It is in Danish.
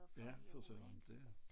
Ja for søren det